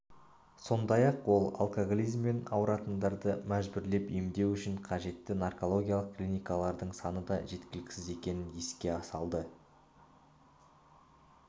сондай-ақ ол алкоголизммен ауратындарды мәжбүрлеп емдеу үшін қажет наркологиялық клиникалардың саны да жеткіліксіз екенін еске салды